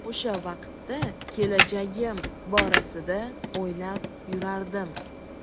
O‘sha vaqtda kelajagim borasida o‘ylab yurardim.